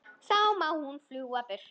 Þá má hún fljúga burtu.